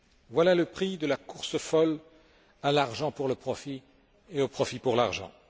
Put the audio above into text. Voilà le prix de la course folle à l'argent pour le profit et au profit pour l'argent.